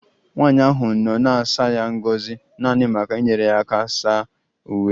Nwanyị ahụ nọ na-asa ya ngọzi naanị maka inyere ya aka ịsa uwe